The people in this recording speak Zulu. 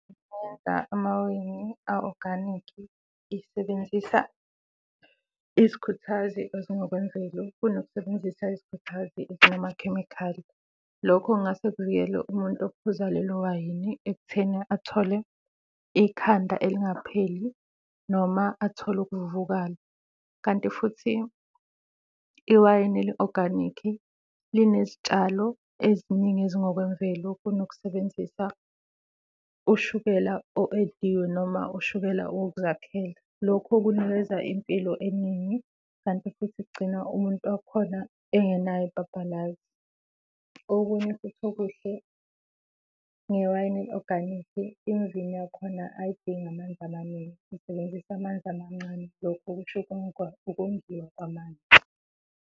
amawayini a-organic isebenzisa izikhuthazi ezingokwemvelo kunokusebenzisa izikhuthazi ezinakhemikhali. Lokho kungase kuvikele umuntu ophuza lelo wayini ekutheni athole ikhanda elingapheli noma athole ukuvuvukala kanti futhi iwayini eli-organic linezitshalo eziningi ezingokwemvelo kunokusebenzisa ushukela o-ediwe noma ushukela wokuzakhela. Lokhu kunikeza impilo eningi kanti futhi kugcina umuntu wakhona engenayo ibhabhalazi. Okunye futhi okuhle ngewayini eli-oganikhi, imvini yakhona ayidingi amanzi amaningi, isebenzisa amanzi amancane. Lokhu kusho ukongiwa kwamanzi.